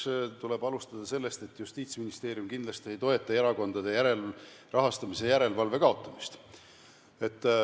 Esiteks tuleb alustada sellest, et Justiitsministeerium kindlasti ei toeta erakondade rahastamise järelevalve kaotamist.